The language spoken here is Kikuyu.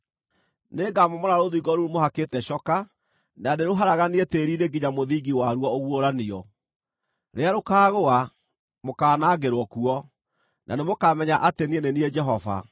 Nĩngamomora rũthingo rũu mũhakĩte coka na ndĩrũharaganie tĩĩri-inĩ nginya mũthingi wa ruo ũguũranio. Rĩrĩa rũkaagũa, mũkaanangĩrwo kuo; na nĩmũkamenya atĩ niĩ nĩ niĩ Jehova.